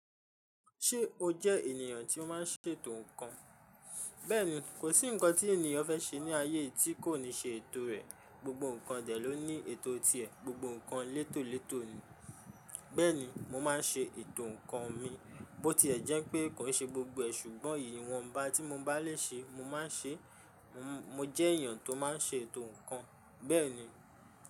Ṣé o jẹ ènìyàn tí ó má n ṣètò ǹkan? Bẹ́ẹ̀ni, kò sí ǹkan tí ènìyàn fẹ́ ṣe ní ayé yi tí kò ní ṣe ètò rẹ̀. Gbogbo ǹkan dè ló ní ètò ti ẹ̀, Gbogbo ǹkan létòlétò ni. Bẹ́ẹ̀ni, mo ma n ṣe ètò ǹkan mi. Bó ti e jẹ́ pé kò í ṣe gbogbo ẹ̀, ṣùgbọ́n èyí iwọnbá tí mo bá lè ṣe mo ma n ṣe. Mo jẹ ènìyàn tó má n ṣe ètò ǹkan. Bẹ́ẹ̀ni.